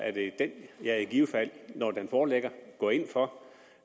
er det den jeg i givet fald når den foreligger går ind for